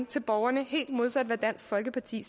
til borgerne helt modsat af hvad dansk folkeparti